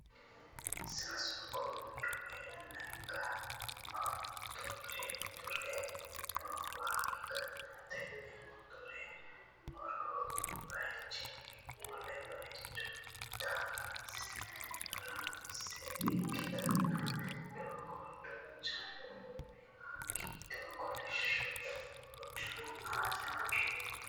Sasu goommi woy lekka motore noowa ikkanna tenne motore horo baayichunni wole baaycho tareessa ikkitanna daga quchumu giddo kolishsho doogo aana batinyunni hasidhannose.